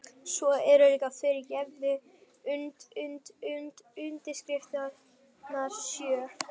Svo eru líka, fyrirgefðu, und und und undirskriftirnar hans sjö.